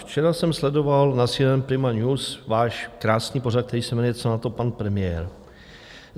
Včera jsem sledoval na CNN Prima News váš krásný pořad, který se jmenuje Co na to pan premiér.